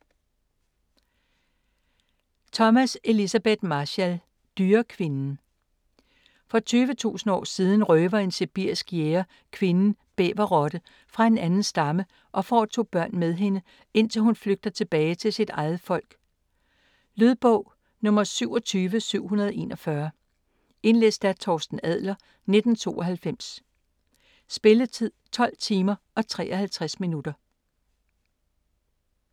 Thomas, Elizabeth Marshall: Dyrekvinden For 20.000 år siden røver en sibirisk jæger kvinden "Bæverrotte" fra en anden stamme og får to børn med hende, indtil hun flygter tilbage til sit eget folk. Lydbog 27741 Indlæst af Torsten Adler, 1992. Spilletid: 12 timer, 53 minutter.